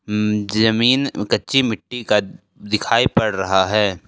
जमीन कच्ची मिट्टी का दिखाई पड़ रहा है।